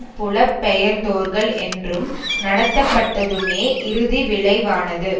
புலப்பெயர்ந்தோர்கள் என்றும் நடத்தப்பட்டதுமே இறுதிவிளைவானது